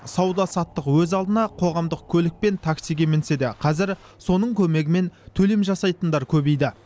сауда саттық өз алдына қоғамдық көлік пен таксиге мінсе де қазір соның көмегімен төлем жасайтындар көбейді